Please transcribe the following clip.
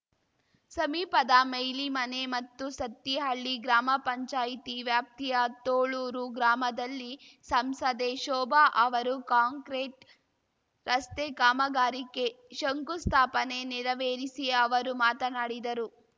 ಸಮೀಪದ ಮೈಲಿಮನೆ ಮತ್ತು ಸತ್ತಿಹಳ್ಳಿ ಗ್ರಾಮ ಪಂಚಾಯಿತಿ ವ್ಯಾಪ್ತಿಯ ತೋಳೂರು ಗ್ರಾಮದಲ್ಲಿ ಸಂಸದೆ ಶೋಭಾ ಅವರು ಕಾಂಕ್ರಿಟ್‌ ರಸ್ತೆ ಕಾಮಗಾರಿಕೆ ಶಂಕುಸ್ಥಾಪನೆ ನೆರವೇರಿಸಿ ಅವರು ಮಾತನಾಡಿದರು